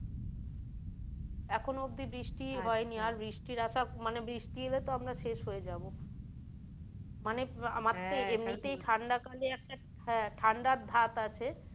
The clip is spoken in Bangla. এখনও অব্দি বৃষ্টি হয়নি আর বৃষ্টির আসা মানে বৃষ্টি এলে তো আমরা শেষ হয়ে যাবো মানে আমার তো এমনি তেই ঠাণ্ডা কালে একটা ঠাণ্ডার ধাত আছে।